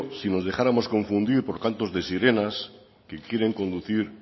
si nos dejáramos confundir por cantos de sirenas que quieren conducir